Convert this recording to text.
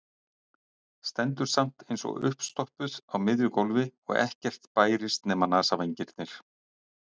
Stendur samt eins og uppstoppuð á miðju gólfi og ekkert bærist nema nasavængirnir.